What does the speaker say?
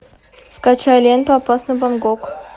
скачай ленту опасный бангкок